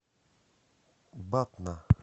батна